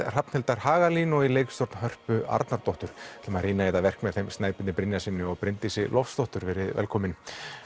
Hrafnhildar Hagalín og leikstjórn Hörpu Arnardóttur ætlum að rýna í þetta verk með þeim Snæbirni Brynjarssyni og Bryndísi Loftsdóttur verið velkomin